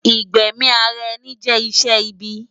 igbẹmi árá ènì jè iṣè ìbì